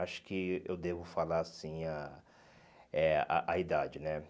Acho que eu devo falar, sim, a eh a a idade, né?